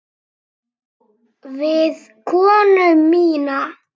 Við konu mína.